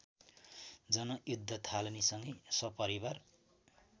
जनयुद्ध थालनीसँगै सपरिवार